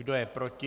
Kdo je proti?